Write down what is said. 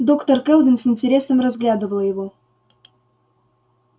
доктор кэлвин с интересом разглядывала его